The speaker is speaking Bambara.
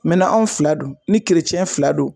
Mɛ n'anw fila don, ni keretiyɛn fila don